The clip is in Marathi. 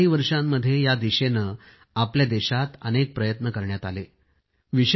गेल्या काही वर्षांमध्ये या दिशेने आपल्या देशात अनेक प्रयत्न करण्यात आले आहेत